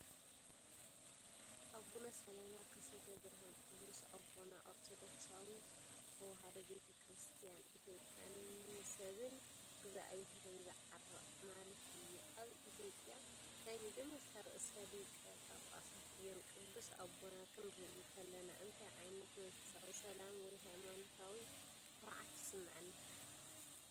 ኣቡነ ሰላማ ከሳቴ ብርሃን ቅዱስ ኣቦና ኦርቶዶክሳዊት ተዋህዶ ቤተ ክርስቲያን ኢትዮጵያ "ንሰብን እግዚኣብሔርን ዘዕረቕ" ማለት'ዩ፡ ኣብ ኢትዮጵያ ናይ መጀመርታ ርእሰ ሊቃነ ጳጳሳት እዮም። ቅዱስ ኣቦና ክንርኢ ከለና እንታይ ዓይነት መንፈሳዊ ሰላም ወይ ሃይማኖታዊ ኩርዓት ይስምዓና?